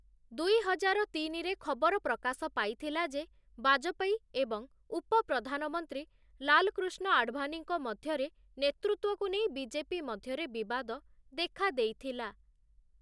ଦୁଇହଜାରତିନି ରେ ଖବର ପ୍ରକାଶ ପାଇଥିଲା ଯେ ବାଜପେୟୀ ଏବଂ ଉପ ପ୍ରଧାନମନ୍ତ୍ରୀ ଲାଲକୃଷ୍ଣ ଆଡଭାନୀଙ୍କ ମଧ୍ୟରେ ନେତୃତ୍ୱକୁ ନେଇ ବିଜେପି ମଧ୍ୟରେ ବିବାଦ ଦେଖାଦେଇଥିଲା ।